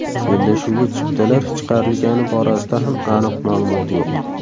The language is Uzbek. Bellashuvga chiptalar chiqarilgani borasida ham aniq ma’lumot yo‘q.